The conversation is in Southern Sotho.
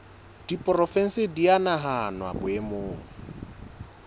diporofensi di a nahanwa boemong